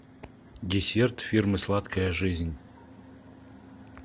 десерт фирмы сладкая жизнь